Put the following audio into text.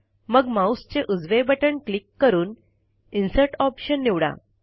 मग माऊसचे उजवे बटण क्लिक करून इन्सर्ट ऑप्शन निवडा